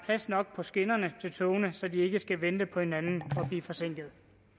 nok på skinnerne til togene så de ikke skal vente på hinanden og blive forsinkede